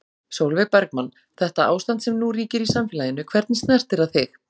Sólveig Bergmann: Þetta ástand sem nú ríkir í samfélaginu, hvernig snertir það þig?